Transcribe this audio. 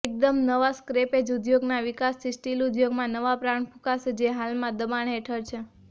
એકદમ નવા સ્ક્રેપેજ ઉદ્યોગના વિકાસથી સ્ટીલ ઉદ્યોગમાં નવા પ્રાણ ફૂંકાશે જે હાલમાં દબાણ હેઠળ છે